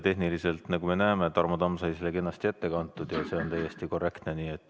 Tehniliselt, nagu me näeme, Tarmo Tamm sai selle kenasti ette kantud ja see on täiesti korrektne.